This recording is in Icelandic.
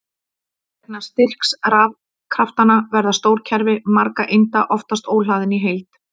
Vegna styrks rafkraftanna verða stór kerfi margra einda oftast óhlaðin í heild.